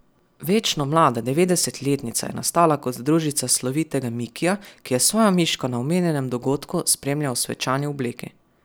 Večno mlada devetdesetletnica je nastala kot družica slovitega Mikija, ki je svojo miško na omenjenem dogodku spremljal v svečani obleki.